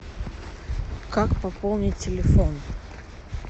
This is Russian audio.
как пополнить телефон